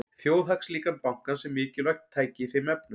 Þjóðhagslíkan bankans er mikilvægt tæki í þeim efnum.